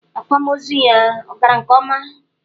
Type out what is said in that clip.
Akwamozu ya ọ gara nke ọma?